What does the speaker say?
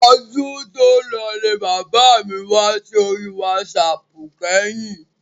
Ọdún tòlọ ni bàbá mi wá sí orí wásaàpù kẹ́yìn.